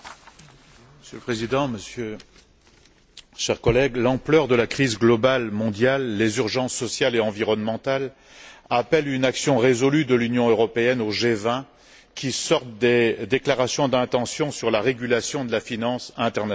Monsieur le Président, chers collègues, l'ampleur de la crise globale mondiale, les urgences sociales et environnementales appellent une action résolue de l'Union européenne au G20, qui sorte des déclarations d'intention sur la régulation de la finance internationale.